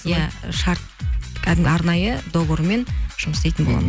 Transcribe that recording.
иә шарт кәдімгі арнайы договормен жұмыс істейтін